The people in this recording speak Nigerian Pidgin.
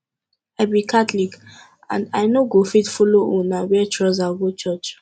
i be catholic and i no go fit follow una wear trouser go church